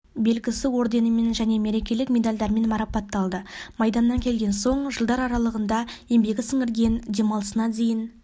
белгісі орденімен және мерекелік медальдермен марапатталды майданнан келген соң жылдар аралығында еңбегі сіңірген демалысына дейін